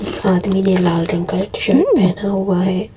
आदमी ने लाल रंग का एक शर्ट पहना हुआ है।